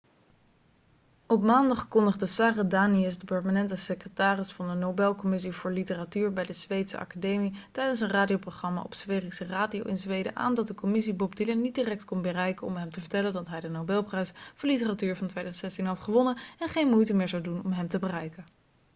op maandag kondigde sara danius de permanente secretaris van de nobelcommissie voor literatuur bij de zweedse academie tijdens een radioprogramma op sveriges radio in zweden aan dat de commissie bob dylan niet direct kon bereiken om hem te vertellen dat hij de nobelprijs voor literatuur van 2016 had gewonnen en geen moeite meer zou doen om hem te bereiken